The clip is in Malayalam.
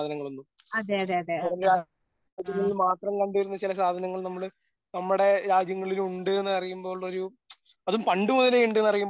അതേ അതേ ആ ആ